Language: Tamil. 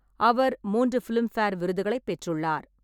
அவர் மூன்று பிலிம்பேர் விருதுகளைப் பெற்றுள்ளார்.